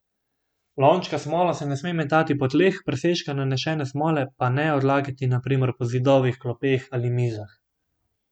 Lončka s smolo se ne sme metati po tleh, presežka nanešene smole pa ne odlagati na primer po zidovih, klopeh ali mizah.